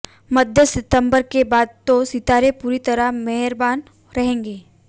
मध्य सितंबर के बाद तो सितारे पूरी तरह मेहरबान रहेंगे